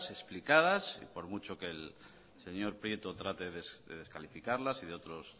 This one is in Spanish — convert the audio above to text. explicadas y por mucho que el señor prieto trate de descalificarlas y de otros